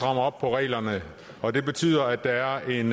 op på reglerne og det betyder at der er en